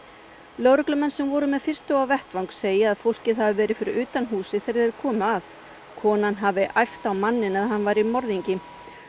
lögreglumenn sem voru með þeim fyrstu á vettvang segja fólkið hafi verið fyrir utan húsið þegar þeir komu að konan hafi æpt á manninn að hann væri morðingi